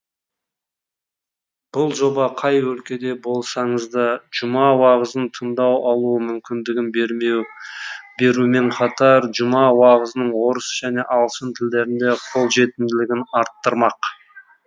бұл жоба қай өлкеде болсаңыз да жұма уағызын тыңдай алу мүмкіндігін берумен қатар жұма уағызының орыс және ағылшын тілдерінде қолжетімділігін арттырмақ